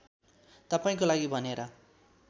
तपाईँको लागि भनेर